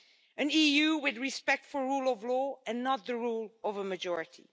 An EU with respect for rule of law and not the rule of a majority.